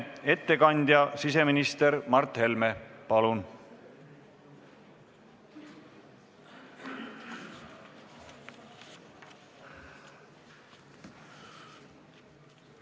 Ettekandjaks on siseminister Mart Helme, palun!